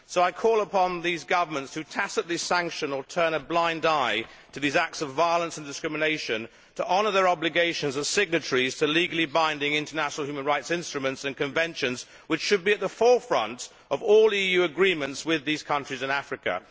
I call upon these governments who tacitly sanction or turn a blind eye to these acts of violence and discrimination to honour their obligations as signatories to legally binding international human rights instruments and conventions which should be at the forefront of all EU agreements with these countries in Africa.